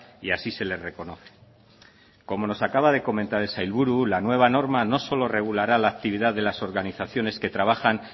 y así se les reconoce como nos acaba de comentar el sailburu la nueva norma no solo regulará la actividad de las organizaciones que trabajan